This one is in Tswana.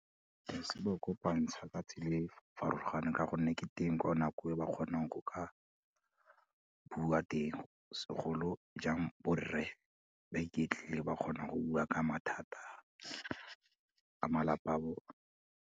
Se ba kopantsha ka tsela e farologaneng ka gonne ke teng ka nako e ba kgonang go ka bua teng segolojang borre, ba iketlile ba kgona go bua ka mathata a malapa a bone.